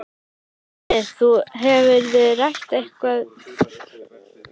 Andri: Þú, hefurðu rætt eitthvað við hjónin?